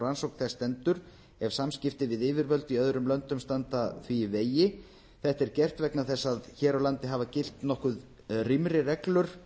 rannsókn þess stendur ef samskipti við yfirvöld í öðrum löndum standa því í vegi þetta er gert vegna þess að hér á landi hafa gilt nokkuð rýmri reglur